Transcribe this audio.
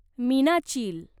मीनाचील